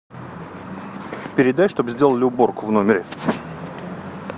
передай чтобы сделали уборку в номере